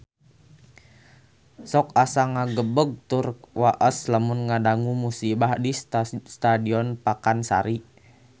Sok asa ngagebeg tur waas lamun ngadangu musibah di Stadion Pakansari